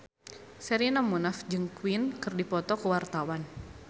Sherina Munaf jeung Queen keur dipoto ku wartawan